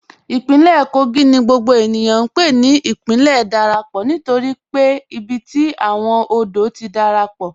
Ìpínlẹ̀ Kógì ni gbogbo ènìyàn n pè ní ìpínlẹ̀ ìdárápọ́ nítorí pé ìbí tí awọn òdò ti dárápọ́ pọ.